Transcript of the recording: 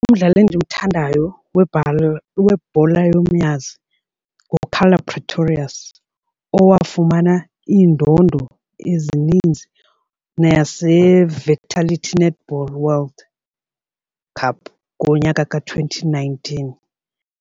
Umdlali endimthandayo webhola yomnyazi nguKarla Pretorious owafumana iindondo ezininzi naze-vitality netball world cup ngonyaka ka-twenty nineteen.